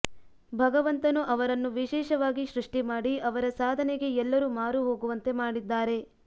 ಭಗವಂತನು ಅವರನ್ನು ವಿಶೇಷವಾಗಿ ಸೃಷ್ಟಿ ಮಾಡಿ ಅವರ ಸಾಧನೆಗೆ ಎಲ್ಲರೂ ಮಾರು ಹೋಗುವಂತೆ ಮಾಡಿದ್ದಾರೆ